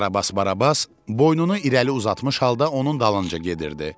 Karabas Barabas boynunu irəli uzatmış halda onun dalınca gedirdi.